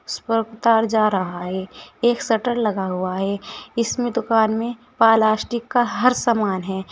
इस पर तार जा रहा है एक शटर लगा हुआ है इसमें दुकान में पलास्टिक का हर सामान है।